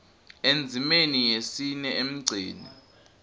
endzimeni yesine emgceni